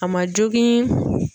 A ma jogin.